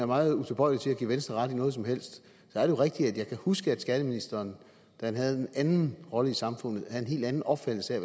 meget utilbøjelig til at give venstre ret i noget som helst at jeg kan huske at skatteministeren da han havde en anden rolle i samfundet var af en helt anden opfattelse af